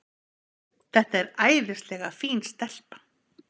Þetta er æðislega fín stelpa.